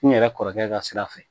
N yɛrɛ kɔrɔkɛ ka sira fɛ